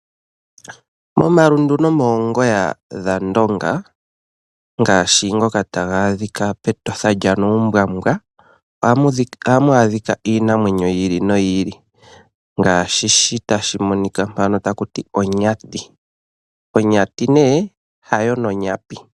Momalundu nomoongoya dhandonga ngaashi ngoka taga adhika pEtotha lyaNuumbwambwa ohamu adhika iinamwenyo yi ili noyi ili ngaashi shi tashi monika mpa taku tiwa onyati. Onyati nee hayo nonyapi.